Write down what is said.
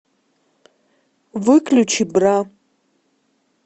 выключи бра